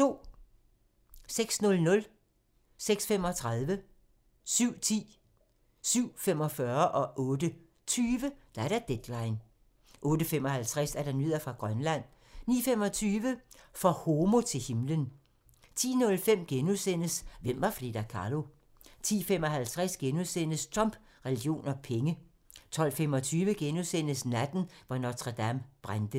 06:00: Deadline 06:35: Deadline 07:10: Deadline 07:45: Deadline 08:20: Deadline 08:55: Nyheder fra Grønland 09:25: For homo til himlen 10:05: Hvem var Frida Kahlo? * 10:55: Trump, religion og penge * 12:25: Natten, hvor Notre-Dame brændte *